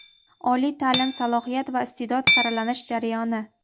Oliy taʼlim: salohiyat va isteʼdod saralanish jarayoni.